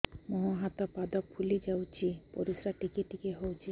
ମୁହଁ ହାତ ପାଦ ଫୁଲି ଯାଉଛି ପରିସ୍ରା ଟିକେ ଟିକେ ହଉଛି